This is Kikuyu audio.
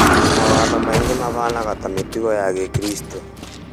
Mawatho maingĩ mahanaga ta matugo ya gĩkristo